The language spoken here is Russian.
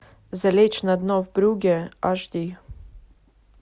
залечь на дно в брюгге аш ди